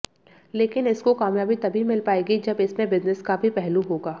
लेकिन इसको कामयाबी तभी मिल पाएगी जब इसमें बिजनेस का भी पहलू होगा